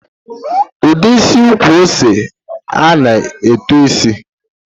Ụdị isi ukwu ose a na-eto isi?